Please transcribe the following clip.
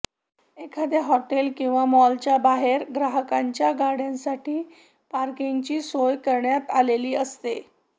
एखाद्या हॉटेल किंवा मॉलच्या बाहेर ग्राहकांच्या गाड्यांसाठी पार्किंगची सोय करण्यात आलेली असते